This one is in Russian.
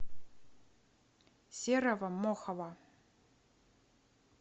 серого мохова